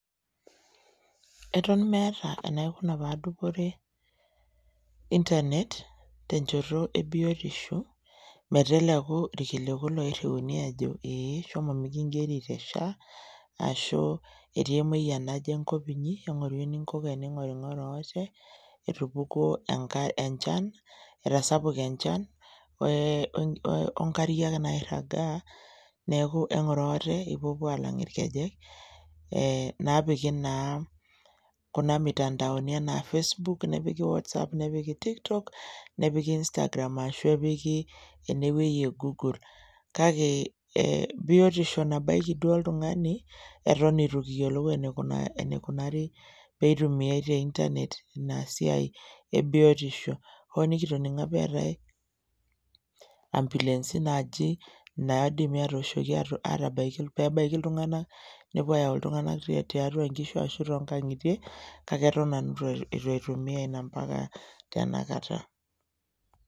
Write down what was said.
Eton meeta enaikuna paadupore intanet tenchoto ebiotisho meteleku ilkiliku loirriuni ajo ee shomo mikin'geri te SHA ashu etii emuoyian naje enkop inyi eng'oru eninkoko ening'oring'oro ate etupukuo enchan, etasupa enchan oenkariak nairraga neaku eng'oro ate ipuopuo aalang ilkejek ee naapiki naa kuna mitandaoni anaa facebook nepiki  whatsapp nepiki tiktok nepiki Instagram ashu epiki enewuei e  google. Kake ee biotisho nabaiki duo oltung'ani eton eitu kiyiolou eneikunari peitumiai te intanet inasiai e biotisho hoo nikitoning'o apa eetai ambulensi naaji naaidimi atooshoki atabaiki peebaiki iltung'ana nepuo ayau iltung'ana tiatua nkishu ashu tongang'itie kake eton nanu eitu aitumia ina mpaka tenakata.